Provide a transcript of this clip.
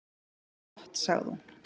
"""Það er gott, sagði hún."""